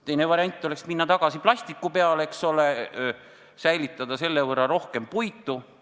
Teine variant oleks minna tagasi plasti peale ja säilitada selle võrra rohkem puitu.